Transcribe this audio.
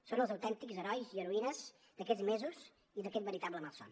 són els autèntics herois i heroïnes d’aquests mesos i d’aquest veritable malson